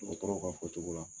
Dɔgɔtɔrɔw ka fɔ cogo la.